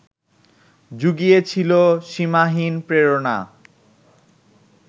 জুগিয়েছিল সীমাহীন প্রেরণা